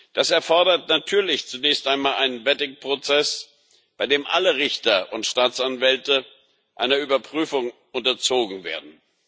Das erfordert natürlich zunächst einmal einen Vetting Prozess, bei dem alle Richter und Staatsanwälte einer Überprüfung unterzogen werden.